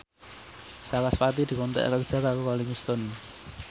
sarasvati dikontrak kerja karo Rolling Stone